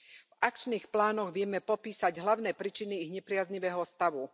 V akčných plánoch vieme popísať hlavné príčiny ich nepriaznivého stavu.